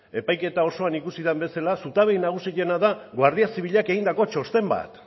epaiketa osoan ikusi den bezala zutaberik nagusiena da guardia zibilak egindako txosten bat